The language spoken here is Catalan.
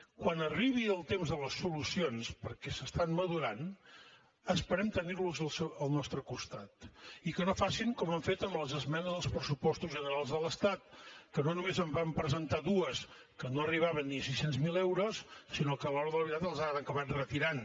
quan arribi el temps de les solucions perquè es maduren esperem tenir los al nostre costat i que no facin com han fet amb les esmenes als pressupostos generals de l’estat que no només en van presentar dues que no arribaven ni a sis cents miler euros sinó que a l’hora de la veritat les han acabat retirant